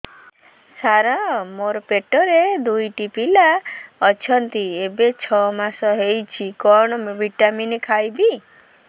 ସାର ମୋର ପେଟରେ ଦୁଇଟି ପିଲା ଅଛନ୍ତି ଏବେ ଛଅ ମାସ ହେଇଛି କଣ ଭିଟାମିନ ଖାଇବି